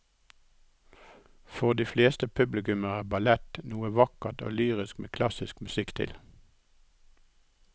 For de fleste publikummere er ballett noe vakkert og lyrisk med klassisk musikk til.